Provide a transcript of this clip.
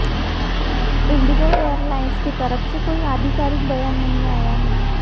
Indigo Airlines की तरफ से कोई आधिकारिक बयान नहीं आया है